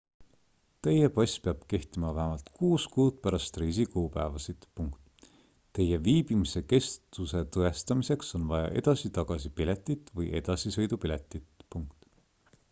teie pass peab kehtima vähemalt 6 kuud pärast reisi kuupäevasid teie viibimise kestuse tõestamiseks on vaja edasi-tagasi piletit või edasisõidupiletit